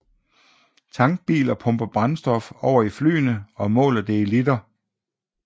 Tankbiler pumper brændstof over i flyene og måler det i liter